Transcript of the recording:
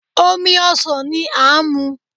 Omi ọsan ni a n mu